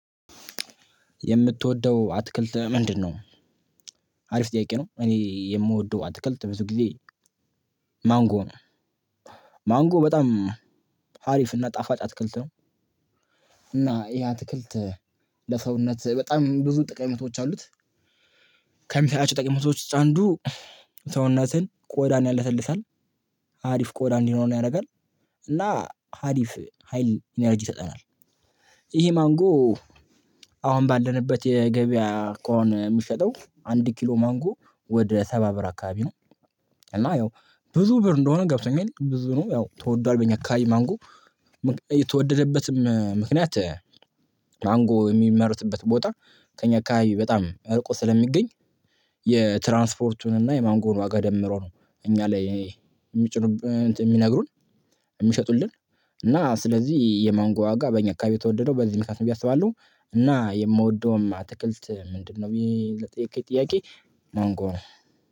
የምትወደው አትክልት ምንድነው? አሪፍ ጥያቄ ነው እኔ የምወደው አትክልት ብዙ ጊዜ ማንጎ ነው። ማንጎ በጣም ሀሪፍ እና ጣፋጫ አትክልት ነው። እና ይሄ አትክልት ለሰውነት በጣም ብዙ ጠቀሜታዎች አሉት። ከጠቀሜታዎች ውስጥ አንዱ ሰውነትን ቆዳን ያለሰልሳል አሪፍ ቆዳ እንዲኖረን ያደርጋል። እና ሀሪፍ ሀይል ኢነርጂ ይሰጠናል። ይሄ ማንጎ አሁን ባለንበት የገበያ አካሄድ የሚሸጠው አንድ ኪሎ ማንጎ ወደ ሰባ ብር አካባቢ ነው። እና ያው ብዙ ብር እንደሆነ ገብቶኛል ብዙ ነው ያው ትወዶዋል በኛ አከባቢ ማንጎ። እየተወደደበትም ምክንያት ማንጎ የሚመረትበት ቦታ ከእኛ አከባቢ በጣም እርቆ ስለሚገኝ። የትራንስፖርቱን እና የማንጎውን ዋጋ ደምሮ ነው። እኛ ላይ የሚጭኑ የሚነግሩን የሚሸጡልን እና ስለዚህ የማንጎ ዋጋ በእኛ አካባቢ የተወደደው በዚህ ምክንያት ብየ አስባለሁ። እና የምወደውም አትክልት ምንድነው ብየ ለጠየከኝ ጥያቄ ማንጎ ነው።